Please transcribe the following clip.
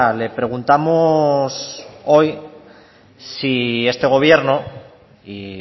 le preguntamos hoy si este gobierno y